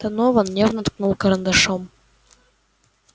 донован нервно ткнул карандашом